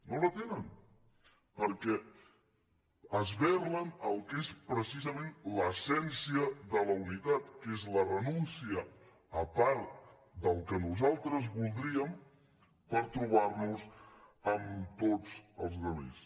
no la tenen perquè esberlen el que és l’essència de la unitat que és la renúncia a part del que nosaltres voldríem per trobarnos amb tots els altres